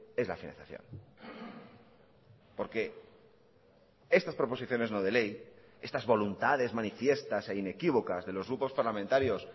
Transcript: es la financiación porque estas proposiciones no de ley estas voluntades manifiestas e inequívocas de los grupos parlamentarios